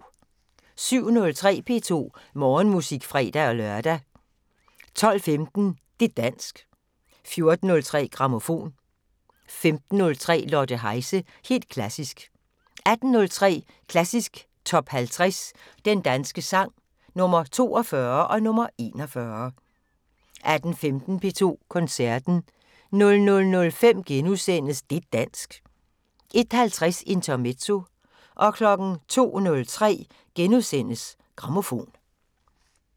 07:03: P2 Morgenmusik (fre-lør) 12:15: Det' dansk 14:03: Grammofon 15:03: Lotte Heise – helt klassisk 18:03: Klassisk Top 50 Den danske sang – Nr. 42 og nr. 41 18:15: P2 Koncerten 00:05: Det' dansk * 01:50: Intermezzo 02:03: Grammofon *